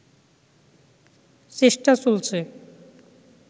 চেষ্টা চলছে